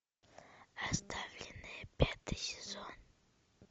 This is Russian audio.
оставленные пятый сезон